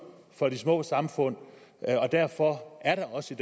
for de små samfund og derfor er der også